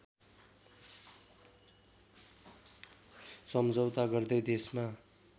सम्झौता गर्दै देशमा